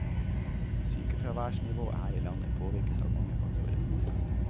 Sykefraværsnivået her i landet påvirkes av mange faktorer.